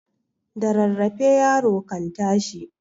Da rarrafe yaro kan tashi.